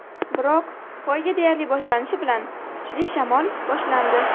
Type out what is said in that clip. Biroq poyga deyarli boshlanishi bilan kuchli shamol boshlandi.